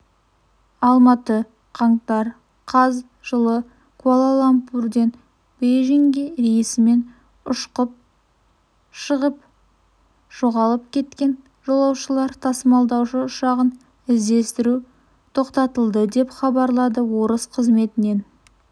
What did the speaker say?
алматы қаңтар қаз жылы куала-лумпурден бейжіңге рейсімен ұшқып шығып жоғалып кеткен жолаушылар тасымалдаушы ұшағын іздестіру тоқтатылды деп хабарлады орыс қызметінен